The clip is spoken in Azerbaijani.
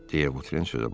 Deyə Votren sözə başladı.